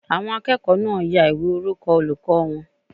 Àwọn akẹ́kọ̀ọ́ náà ya ìwé orúkọ olùkọ́ wọn